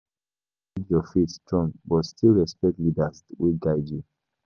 You fit hold your faith strong, but still respect leaders wey guide you.